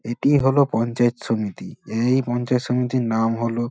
এটি হলো পঞ্চায়েত সমিতি। এই পঞ্চায়েত সমিতির নাম হলো--